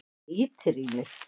Hann ýtir í mig.